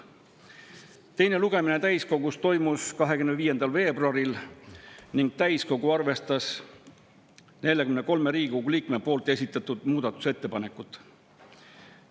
Teine lugemine täiskogus toimus 25. veebruaril ning täiskogu arvestas 43 Riigikogu liikme esitatud muudatusettepanekut.